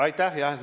Aitäh!